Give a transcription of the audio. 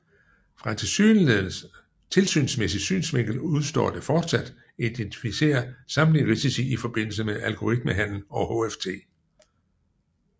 Fra en tilsynsmæssig synsvinkel udestår det fortsat at identificere samtlige risici i forbindelse med algoritmehandel og HFT